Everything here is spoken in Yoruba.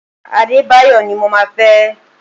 Adebayo ni mo máa fẹ́!